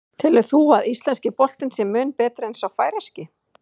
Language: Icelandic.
Telur þú að íslenski boltinn sé mun betri en sá færeyski?